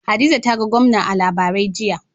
Hadiza ta ga gwamna a labarai, jiya.